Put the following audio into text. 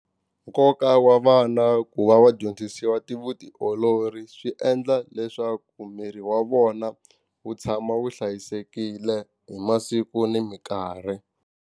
Nkoka wa vana ku va va dyondzisiwa ti vutiolori swi endla leswaku miri wa vona wu tshama wu hlayisekile hi masiku ni minkarhi.